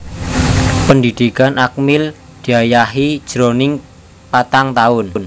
Pendhidhikan Akmil diayahi jroning patang taun